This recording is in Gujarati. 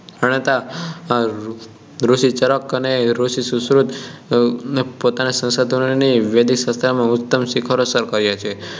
પ્રણેતાઓ ઋષિ ચરક અને ઋષિ સુશ્રુત પોતાનાં સંશોધનોથી વૈદિક શાસ્ત્રનાં ઉચ્ચતમ શિખરો સર કર્યા છે